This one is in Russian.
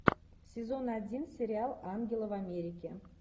сезон один сериал ангелы в америке